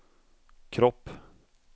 kropp